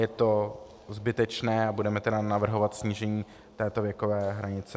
Je to zbytečné a budeme tedy navrhovat snížení této věkové hranice.